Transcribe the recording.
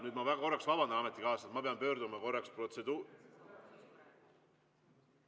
Nüüd ma korraks vabandan, ametikaaslased, ma pean pöörduma korraks protseduur ...